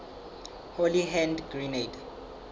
holy hand grenade